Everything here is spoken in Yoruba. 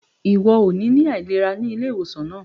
Iwọ óò ní ilarada ní ilé-ìwosan náà